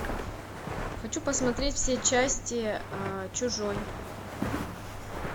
хочу посмотреть все части чужой